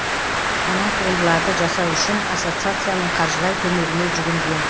мына туындыларды жасау үшін ассоциацияның қаржылай көмегіне жүгінген